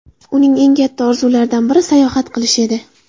Uning eng katta orzularidan biri sayohat qilish edi.